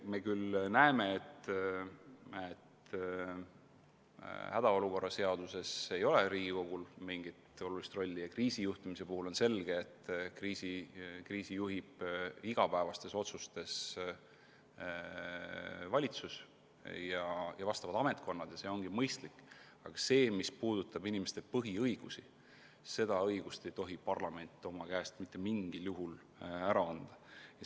Me küll näeme, et hädaolukorra seaduses ei ole Riigikogul mingit olulist rolli ja ka kriisijuhtimise puhul on selge, et kriisi juhivad igapäevaste otsuste kaudu valitsus ja vastavad ametkonnad – ja nii ongi mõistlik –, aga seda osa, mis puudutab inimeste põhiõigusi, ei tohi parlament mitte mingisugusel juhul käest anda.